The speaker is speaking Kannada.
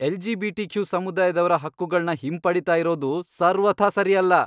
ಎಲ್.ಜಿ.ಬಿ.ಟಿ.ಕ್ಯೂ. ಸಮುದಾಯದವ್ರ ಹಕ್ಕುಗಳ್ನ ಹಿಂಪಡೀತಾ ಇರೋದು ಸರ್ವಥಾ ಸರಿಯಲ್ಲ.